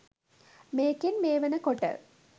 මේකෙන් මේ වෙන කොට